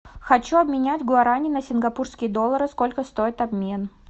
хочу обменять гуарани на сингапурские доллары сколько стоит обмен